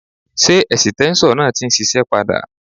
Ṣé ẹ̀sìtẹ́ńṣọ̀ náà ti ń ṣiṣẹ́ padà?